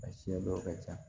A siɲɛ dɔw ka ca